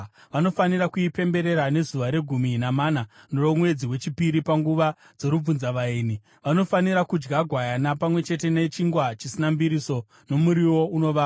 Vanofanira kuipemberera nezuva regumi namana romwedzi wechipiri panguva dzorubvunzavaeni. Vanofanira kudya gwayana, pamwe chete nechingwa chisina mbiriso nomuriwo unovava.